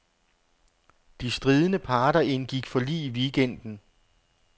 De stridende parter indgik forlig i weekenden.